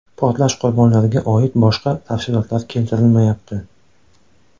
Portlash qurbonlariga oid va boshqa tafsilotlar keltirilmayapti.